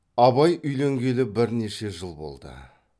абай үйленгелі бірнеше жыл болды